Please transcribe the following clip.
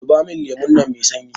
zubo min lemon nan Mai sanyi!